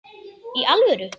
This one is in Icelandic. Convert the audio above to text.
Í alvöru.